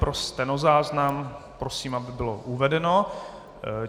Pro stenozáznam prosím, aby bylo uvedeno.